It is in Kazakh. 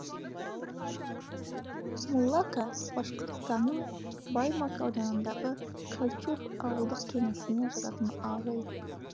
муллака башқұртстанның баймак ауданындағы кальчур ауылдық кеңесіне жататын ауыл